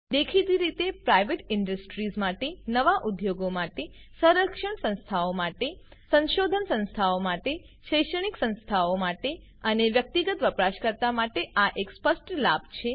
દેખીતી રીતે private industries માટે નવા ઉદ્યોગો માટે સંરક્ષણ સંસ્થાઓ માટે સંશોધન સંસ્થાઓ માટે શૈક્ષણિક સંસ્થાઓ માટે અને વ્યક્તિગત વપરાશકર્તા માટે આ એક સ્પષ્ટ લાભ છે